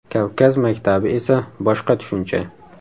Kavkaz maktabi esa boshqa tushuncha.